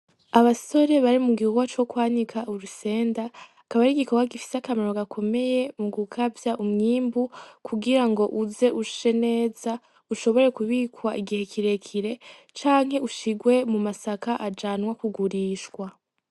Abasore bari mu gihuwa co kwanika urusenda akaba ari igikorwa gifise akamarr gakomeye mu gukavya umwimbu kugira ngo uze ushe neza ushobore kubikwa igihe kirekire canke ushirwe mu masaka ajanwa kugurishwa.